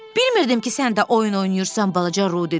Bilmirdim ki, sən də oyun oynayırsan, balaca Ru dedi.